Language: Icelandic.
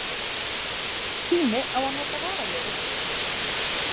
Tími á að nota varaliðið?